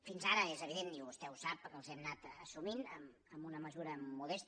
fins ara és evident i vostè ho sap que els hem anat assumint en una mesura modesta